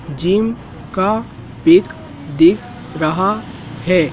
Gym का pic दिख रहा है।